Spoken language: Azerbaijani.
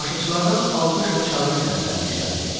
Tamaşaçılardan alqış və çağırış səsləri yüksəldi.